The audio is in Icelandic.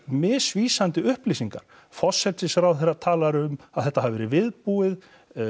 misvísandi upplýsingar forsætisráðherra talar um að þetta hafi verið viðbúið